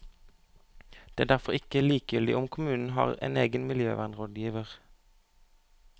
Det er derfor ikke likegyldig om kommunen har en egen miljøvernrådgiver.